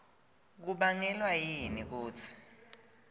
kubangelwa yini kutsi